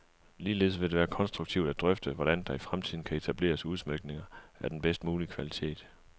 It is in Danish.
Ligeledes vil det være konstruktivt at drøfte, hvordan der i fremtiden kan etableres udsmykninger af den bedst mulige kvalitet.